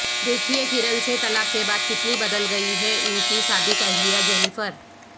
دیکھئے کرن سے طلاق کے بعد کتنی بدل گئی ہے ان کی سابق اہلیہ جینیفر